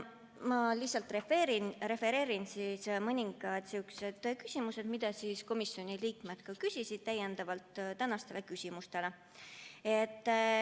Ma lihtsalt refereerin mõningaid küsimusi, mida komisjoni liikmed küsisid lisaks neile, mis täna siin kõlasid.